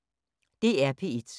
DR P1